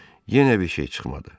Yenə bir şey çıxmadı.